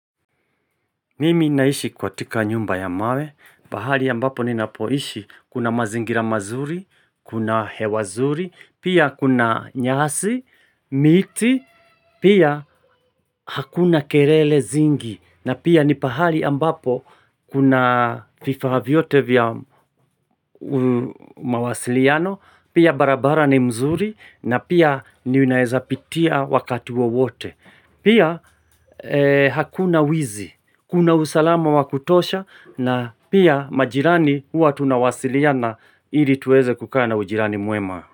Mimi naishi kwa katika nyumba ya mawe, pahali ambapo ni napoishi kuna mazingira mazuri, kuna hewazuri, pia kuna nyasi, miti, pia hakuna kelele zingi, na pia ni pahali ambapo kuna vifaa vyote vya mawasiliano, pia barabara ni mzuri, na pia ni unaezapitia wakati wawote. Pia hakuna wizi, kuna usalama wakutosha na pia majirani huwa tunawasiliana ili tuweze kukaa na ujirani mwema.